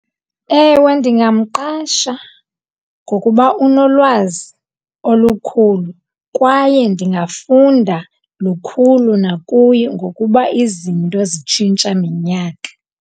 Ewe, ndingamqasha ngokuba unolwazi olukhulu kwaye ndingafunda lukhulu nakuye ngokuba izinto zitshintsha minyaka.